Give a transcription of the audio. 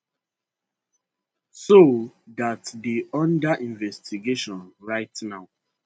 so dat dey under investigation right now